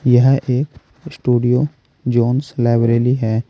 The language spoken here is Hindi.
यह एक स्टूडियो जॉन्स लाइब्रेली है।